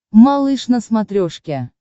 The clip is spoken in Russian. малыш на смотрешке